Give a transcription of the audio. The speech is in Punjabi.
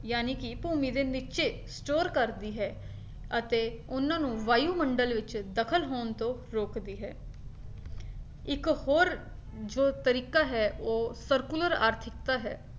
ਜਾਣੀ ਕੀ ਭੂਮੀ ਦੇ ਨੀਚੇ store ਕਰਦੀ ਹੈ ਅਤੇ ਉਹਨਾਂ ਨੂੰ ਵਾਯੂਮੰਡਲ ਵਿੱਚ ਦਖਲ ਹੋਣ ਤੋਂ ਰੋਕਦੀ ਹੈ ਇੱਕ ਹੋਰ ਜੋ ਤਰੀਕਾ ਹੈ ਉਹ ਸਰੂਕੁਲਰ ਆਰਥਿਕਤਾ ਹੈ।